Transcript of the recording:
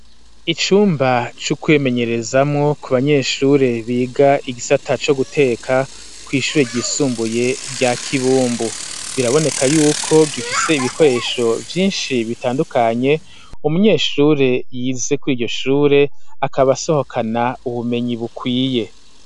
Icumba cukwimenyerezamwo ku banyeshure biga igisata co guteka kw'ishure ryisumbuye rya kibumbu biraboneka yuko gifise ibikoresho vyinshi bitandukanye umunyeshure yize kuri iryo shure akaba asohokana ubumenyi bukwiye.